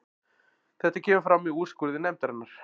Þetta kemur fram í úrskurði nefndarinnar